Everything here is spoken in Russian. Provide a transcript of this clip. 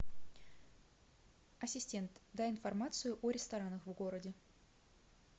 ассистент дай информацию о ресторанах в городе